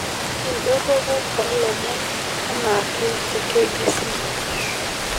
indorropu oolomon enaake te k.b.c